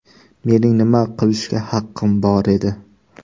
Mening nima qilishga haqqim bor edi.